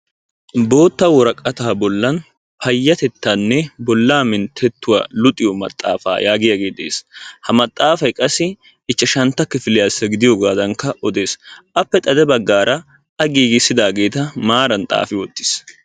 Bootta woraqataa bolan payatettaanne bolaa mintettuwa luxiyoo maxaafa yaagiyaagee de'oosona. Ha maxaafay ichchashantta kifiliyaasa gidiyoogaa odees, appe xade bagaara a giigissidaageeta maran xaafi wottiis.